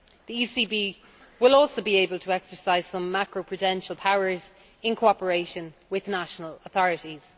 The ECB will also be able to exercise some macro prudential powers, in cooperation with national authorities.